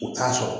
U t'a sɔrɔ